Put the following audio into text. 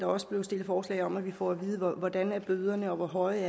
også blevet stillet forslag om at vi får at vide hvordan bøderne er og hvor høje